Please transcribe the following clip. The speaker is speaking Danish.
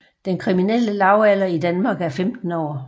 Den kriminelle lavalder i Danmark er 15 år